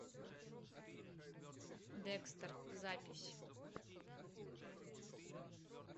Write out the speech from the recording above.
декстер запись